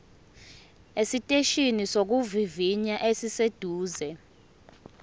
esiteshini sokuvivinya esiseduze